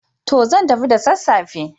To! Zan tafi da sassafe.